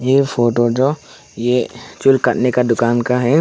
ये फोटो जो ये चूल काटने का दुकान का है।